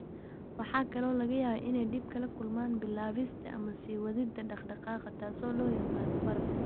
Waxa kale oo laga yaabaa inay dhib kala kulmaan bilaabista ama sii wadida dhaqdhaqaaqa, taas oo loo yaqaan baraf.